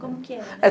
Como que era, né?